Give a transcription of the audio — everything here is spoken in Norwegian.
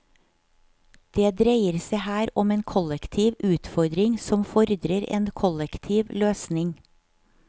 Det dreier seg her om en kollektiv utfordring som fordrer en kollektiv løsning.